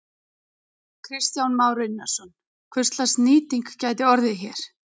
Kristján Már Unnarsson: Hverslags nýting gæti orðið hér?